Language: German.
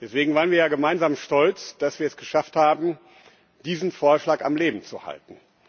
Deswegen waren wir ja gemeinsam stolz, dass wir es geschafft haben, diesen Vorschlag am Leben zu halten.